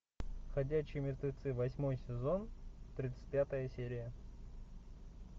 ходячие мертвецы восьмой сезон тридцать пятая серия